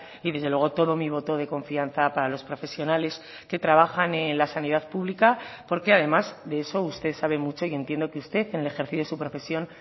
y desde luego todo mi voto de confianza para los profesionales que trabajan en la sanidad pública porque además de eso usted sabe mucho y entiendo que usted en el ejercicio de su profesión